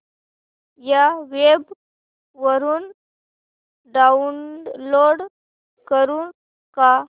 या वेब वरुन डाऊनलोड करू का